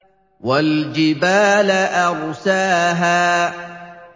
وَالْجِبَالَ أَرْسَاهَا